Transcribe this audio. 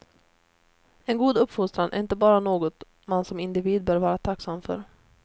En god uppfostran är inte bara något man som individ bör vara tacksam för.